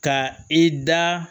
Ka i da